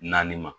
Naani ma